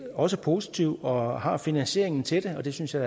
også positive og har finansieringen til det og det synes jeg